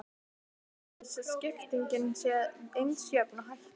Gætið þess að skiptingin sé eins jöfn og hægt er.